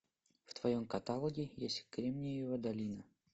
в твоем каталоге есть кремниевая долина